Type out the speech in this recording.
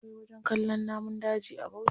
Akwai wajen kallon namun daji a bauchi.